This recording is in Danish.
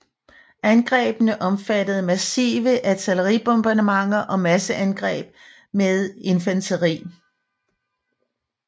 Angrebene omfattede massive artilleribombardementer og masseangreb med infanteri